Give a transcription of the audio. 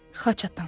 Xaç atam.